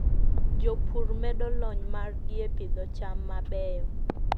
Jopur medo lony margi e pidho cham mabeyo.